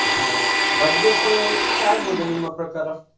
ಹಾ ಹಾಗೆ budget ಎಷ್ಟು ಆಗಬಹುದು ನಿಮ್ಮ ಪ್ರಕಾರ.